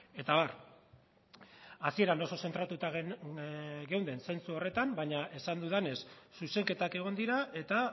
eta abar hasieran oso zentratuta geunden zentzu horretan baina esan dudanez zuzenketak egon dira eta